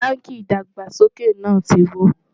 bánkì ìdàgbàsókè nà tí wò